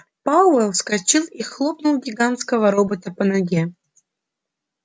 пауэлл вскочил и хлопнул гигантского робота по ноге